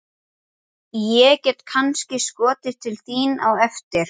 Ég varð aldrei söm eftir þann dag.